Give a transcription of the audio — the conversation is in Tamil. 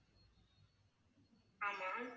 ஆமா